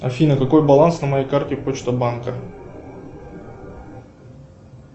афина какой баланс на моей карте почта банка